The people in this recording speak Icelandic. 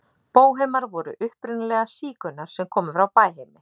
Bóhemar voru upprunalega sígaunar sem komu frá Bæheimi.